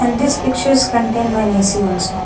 And this pictures contain one A_C also.